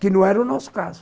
Que não era o nosso caso.